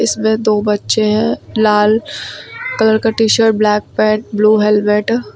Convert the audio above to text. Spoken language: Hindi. इसमें दो बच्चे हैं लाल कलर का T shirt black pant blue helmet.